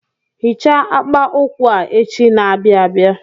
Hichaa akpa ụkwụ a echi na-abịa abịa.